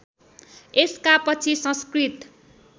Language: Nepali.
यसका पछि संस्कृत